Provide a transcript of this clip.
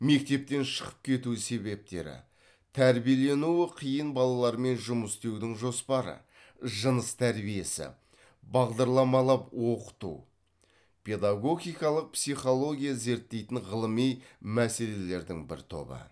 мектептен шығып кету себептері тәрбиеленуі қиын балалармен жұмыс істеудің жоспары жыныс тәрбиесі бағдарламалап оқыту педагогикалық психология зерттейтін ғылыми мәселелердің бір тобы